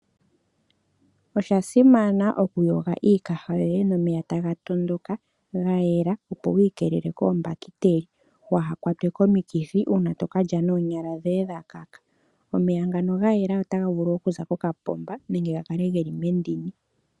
Oshasimana oku yoga iikaha yoye nomeya taga tondoka ga yela, opo wi kelele kombakiteli waa kwatwe komikithi uuna to ka lya nonyala dhoye dha kaka. Omeya ngano otaga vulu okuza kokapomba nenge mendini.